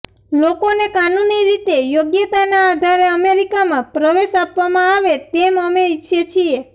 લોકોને કાનૂની રીતે યોગ્યતાના આધારે અમેરિકામાં પ્રવેશ આપવામાં આવે તેમ અમે ઈચ્છીએ છીએ